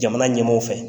Jamana ɲɛmaw fɛ